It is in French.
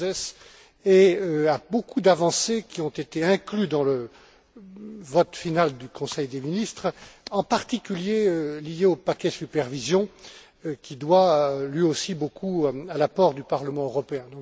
Gauzès, et à beaucoup d'avancées qui ont été incluses dans le vote final du Conseil des ministres, en particulier liées au paquet supervision qui doit lui aussi beaucoup à l'apport du Parlement européen.